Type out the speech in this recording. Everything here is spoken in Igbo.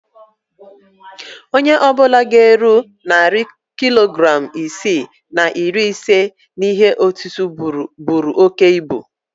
Onye ọ bụla ga-eru narị kilogram isii na iri ise n'ihe òtútú buru oke ibu